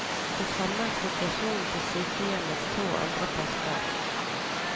Det samme er situasjonen på sykehjemmets to andre poster.